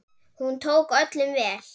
Hún tók öllum vel.